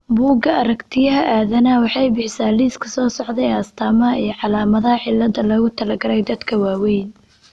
Bugga Aaragtiyaha Aadanaha waxay bixisaa liiska soo socda ee astamaha iyo calaamadaha cilada loogu talagalay dadka waaweyn .